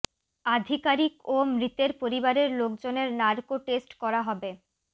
আধিকারিক ও মৃতের পরিবারের লোকজনের নার্কো টেস্ট করা হবে